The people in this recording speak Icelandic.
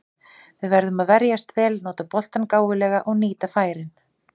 Við verðum að verjast vel, nota boltann gáfulega og nýta færin.